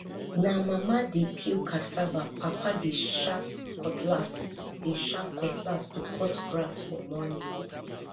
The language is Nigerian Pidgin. na mama dey peel cassava papa dey sharp cutlass dey sharp cutlass to cut grass for morning